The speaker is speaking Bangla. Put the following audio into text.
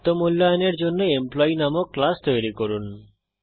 আত্ম মূল্যায়নের জন্য এমপ্লয়ী নামক ক্লাস তৈরী করুন